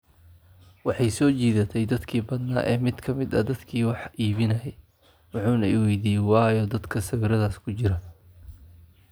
waxay soo jiidatay dadkii badnaa ee mid ka mid ah dadkii wax iibinayay, wuxuuna i weydiiyay 'waa ayo dadka sawiradaas ku jira?'